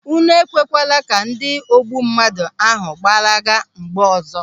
Unu ekwekwala ka ndị ogbummadụ ahụ gbalaga mgbe ọzọ!